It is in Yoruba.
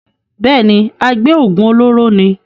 bẹ́ẹ̀ni, agbé òògùn olóró ni.